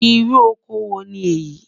Ìrù ọkọ wo ni éyi?